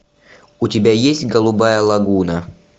у тебя есть голубая лагуна